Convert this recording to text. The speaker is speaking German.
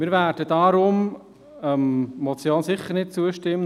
Wir werden deshalb der Motion sicher nicht zustimmen.